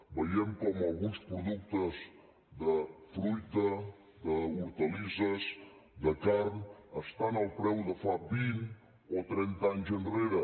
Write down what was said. veiem com alguns productes de fruita d’hortalisses de carn estan al preu de fa vint o trenta anys enrere